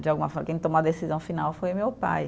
De alguma forma, quem tomou a decisão final foi meu pai.